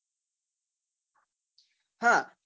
હા